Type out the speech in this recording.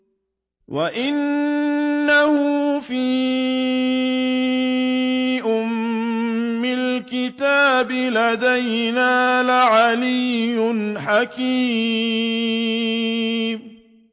وَإِنَّهُ فِي أُمِّ الْكِتَابِ لَدَيْنَا لَعَلِيٌّ حَكِيمٌ